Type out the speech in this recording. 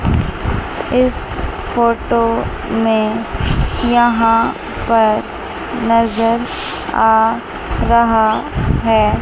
इस फोटो में यहां पर नजर आ रहा है।